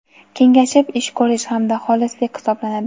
kengashib ish ko‘rish hamda xolislik hisoblanadi.